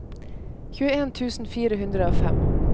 tjueen tusen fire hundre og fem